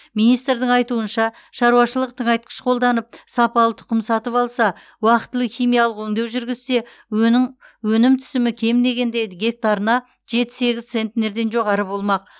министрдің айтуынша шаруашылық тыңайтқыш қолданып сапалы тұқым сатып алса уақтылы химиялық өңдеу жүргізсе өнім өнім түсімі кем дегенде гектарына жеті сегіз центнерден жоғары болмақ